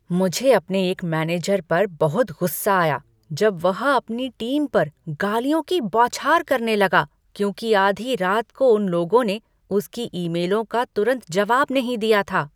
मुझे अपने एक मैनेजर पर बहुत गुस्सा आया जब वह अपनी टीम पर गालियों की बौछार करने लगा क्योंकि आधी रात को उन लोगों ने उसकी ईमेलों का तुरंत जवाब नहीं दिया था।